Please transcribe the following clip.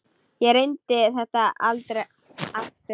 Ég reyndi þetta aldrei aftur.